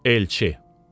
Elçi.